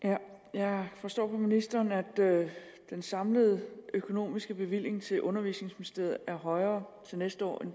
jeg forstår på ministeren at den samlede økonomiske bevilling til undervisningsministeriet er højere til næste år